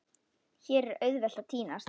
Hér er auðvelt að týnast.